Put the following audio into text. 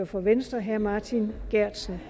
for venstre herre martin geertsen